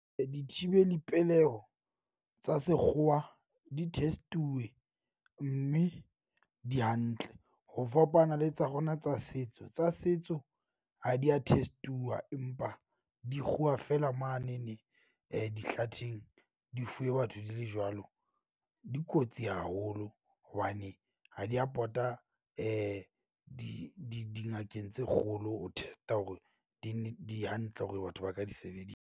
Dithibeli peleho tsa sekgowa di test-uwe mme di hantle. Ho fapana le tsa rona tsa setso tsa setso ha di ya test-uwa. Empa di kguwa feela mane ne dihlatheng, di fuwe batho di le jwalo. Di kotsi haholo hobane ha di a pota di di dingakeng tse kgolo. Ho test-a hore di ne di hantle hore batho ba ka di sebedisa.